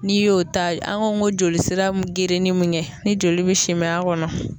N'i y'o ta an ka n ko joli sira bɛ grenin mun kɛ ni joli min simi a kɔnɔ